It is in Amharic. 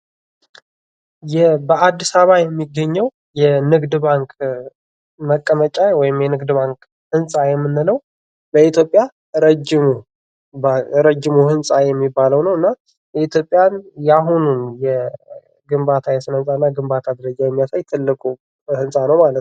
በአዲስ አበባ የሚገኘው የንግድ ባንክ መቀመጫ ወይም የንግድ ባንክ ህንፃ የምንለው በኢትዮጵያ ረጅሙ ህንጻ የሚባለው ነው። እና የኢትዮጵያን የአሁኑን የግንባታ የስነ ህንጻና ግንባታ የሚያሳይ ትልቁ ህንጻ ነው ማለት ነው።